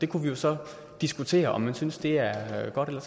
kunne jo så diskutere om man synes det er er godt eller